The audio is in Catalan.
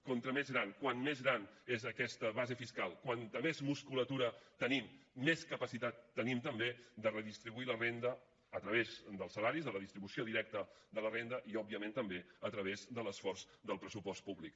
com més gran és aquesta base fiscal com més musculatura tenim més capacitat tenim també de redistribuir la renda a través dels salaris de la distribució directa de la renda i òbviament també a través de l’esforç del pressupost públic